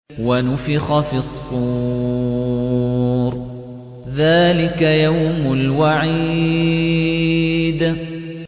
وَنُفِخَ فِي الصُّورِ ۚ ذَٰلِكَ يَوْمُ الْوَعِيدِ